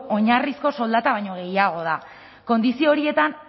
oinarrizko soldata baino gehiago da kondizio horietan